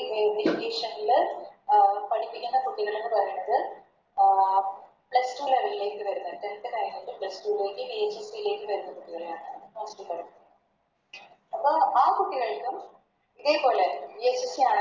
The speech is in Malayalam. Education ല് പഠിപ്പിക്കേണ്ട കുട്ടികളെന്ന് പറയണത് അഹ് Plus two level വരുന്ന Tenth കഴിഞ്ഞിട്ട് plus two ലേക്ക് VHSE ലേക്ക് വരുന്ന കുട്ടികളെയാണ് പഠിപ്പിക്കേണ്ടത് അപ്പൊ ആ കുട്ടികൾക്കും ഇതേപോലെ VHSE